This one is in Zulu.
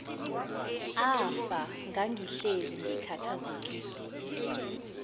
afa ngangihlezi ngikhathazekile